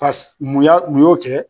Pasi mun ya mun y'o kɛ?